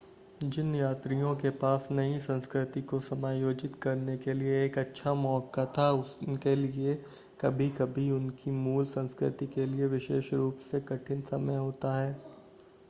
जिन यात्रियों के पास नई संस्कृति को समायोजित करने के लिए एक अच्छा मौका था, उनके लिए कभी-कभी उनकी मूल संस्कृति के लिए विशेष रूप से कठिन समय होता है।